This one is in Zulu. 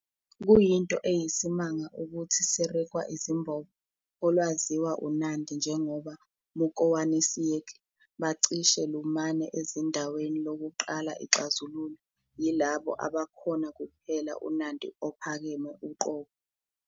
Kuyinto eyisimanga ukuthi Sirikwa izimbobo, olwaziwa uNandi njengoba "mukowanisiek" bacishe lumane ezindaweni lokuqala ixazululwe, yilabo abakhona kuphela uNandi ophakeme uqobo.